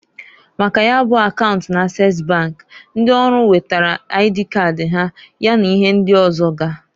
Maka ya bụ akaunt n'Ases bank, ndi ọrụ wetara aidii kadị ha, ya na ihe ndị ọzọga.